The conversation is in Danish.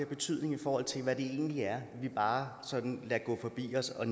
betydning i forhold til hvad det egentlig er vi bare sådan lader gå forbi os og